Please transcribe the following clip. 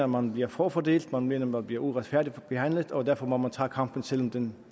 man bliver forfordelt man mener man bliver uretfærdigt behandlet og derfor må man tage kampen selv om den